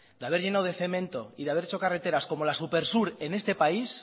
de haber llenado de cemento y de haber echo carreteras como la supersur en este país